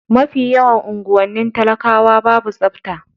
Mafi yawan unguwannin talakawa babu tsafta.